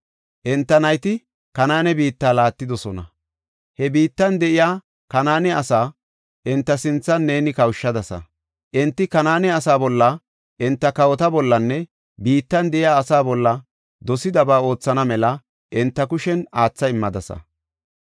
Enta nayti Kanaane biitta laattidosona. He biittan de7iya Kanaane asaa enta sinthan neeni kawushadasa. Enti Kanaane asaa bolla, enta kawota bollanne biittan de7iya asaa bolla dosidaba oothana mela enta kushen aatha immadasa.